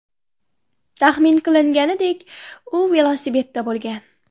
Taxmin qilinganidek, u velosipedda bo‘lgan.